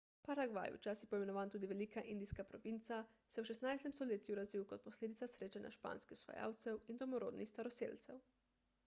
paragvaj včasih poimenovan tudi velika indijska provinca se je v 16 stoletju razvil kot posledica srečanja španskih osvajalcev in domorodnih staroselcev